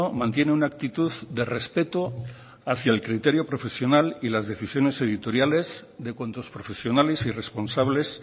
mantiene una actitud de respeto hacia el criterio profesional y las decisiones editoriales de cuantos profesionales y responsables